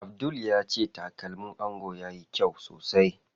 Abdul ya ce takalmin angon yayi kyau sosai.